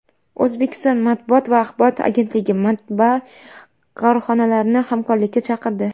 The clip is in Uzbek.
O‘zbekiston matbuot va axborot agentligi matbaa korxonalarini hamkorlikka chaqirdi.